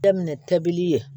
Daminɛ tɛbili ye